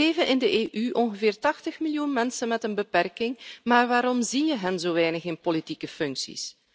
Er leven in de EU ongeveer 80 miljoen mensen met een beperking, maar waarom zie je hen zo weinig in politieke functies?